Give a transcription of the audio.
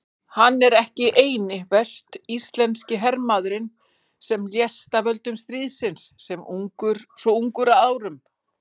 Hann var ekki eini vestur-íslenski hermaðurinn sem lést af völdum stríðsins svo ungur að árum.